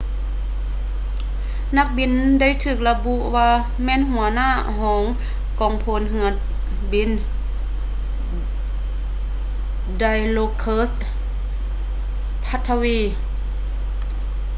ນັກບິນໄດ້ຖືກລະບຸວ່າແມ່ນຫົວໜ້າກອງພົນເຮືອບິນ dilokrit pattavee